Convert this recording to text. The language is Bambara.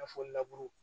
I n'a fɔ